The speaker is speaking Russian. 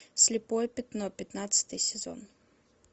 слепое пятно пятнадцатый сезон